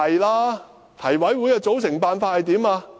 提名委員會的組成辦法為何？